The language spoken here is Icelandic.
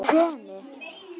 Í þessu greni?